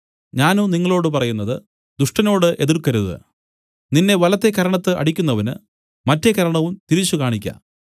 ഞാനോ നിങ്ങളോടു പറയുന്നത് ദുഷ്ടനോട് എതിർക്കരുത് നിന്നെ വലത്തെ കരണത്ത് അടിക്കുന്നവന് മറ്റേ കരണവും തിരിച്ചുകാണിക്ക